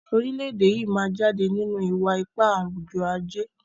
orilẹ-ede yí má jáde nínú iwa-ipa awujọ-aje